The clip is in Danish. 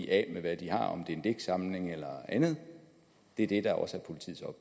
af med hvad de har om det så er en digtsamling eller andet det er det der også